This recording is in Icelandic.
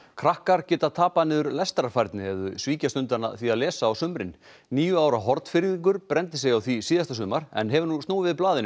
krakkar geta tapað niður lestrarfærni ef þau svíkjast undan því að lesa á sumrin níu ára Hornfirðingur brenndi sig á því síðasta sumar en hefur nú snúið við blaðinu